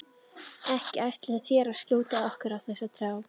Ekki ætlið þér að skjóta okkur þessa þrjá?